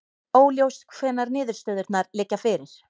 Óljóst hvenær niðurstöðurnar liggja fyrir